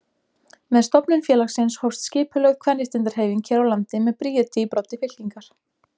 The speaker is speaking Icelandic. Með stofnun félagsins hófst skipulögð kvenréttindahreyfing hér á landi með Bríeti í broddi fylkingar.